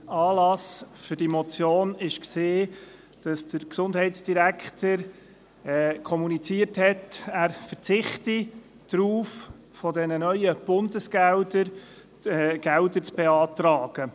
Anlass dieser Motion war, dass der Gesundheitsdirektor kommuniziert hatte, dass er darauf verzichte, von diesen neuen Bundesgeldern zu beantragen.